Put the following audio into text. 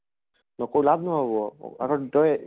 নকৰো লাভ নহব তই